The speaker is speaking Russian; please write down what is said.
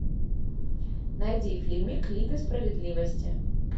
найди фильм лига справедливости